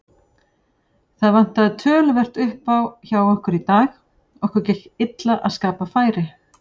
Það vantaði töluvert uppá hjá okkur í dag, okkur gekk illa að skapa færi.